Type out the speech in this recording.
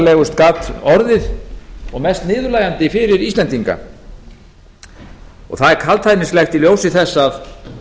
ruddalegust gat orðið og mest niðurlægjandi fyrir íslendinga það er kaldhæðnislegt í ljósi þess að